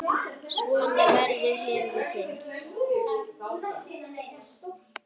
Svona verður hefð til.